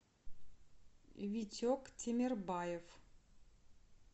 витек темирбаев